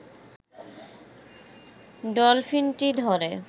ডলফিনটি ধরে